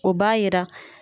O b'a yira